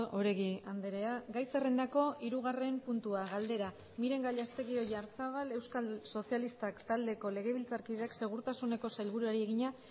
oregi andrea gai zerrendako hirugarren puntua galdera miren gallastegui oyarzábal euskal sozialistak taldeko legebiltzarkideak segurtasuneko sailburuari egina